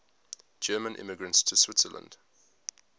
german immigrants to switzerland